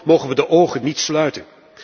Hiervoor mogen we de ogen niet sluiten.